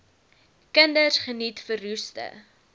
kinders geniet verroeste